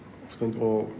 og